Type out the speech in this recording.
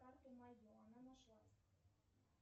карты мое она нашлась